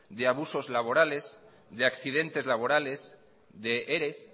de abusos laborales de accidentes laborales de eres